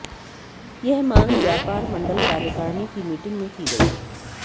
यह मांग व्यापार मंडल कार्यकारिणी की मीटिंग में की गई